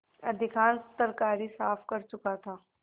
अधिकांश तरकारी साफ कर चुका था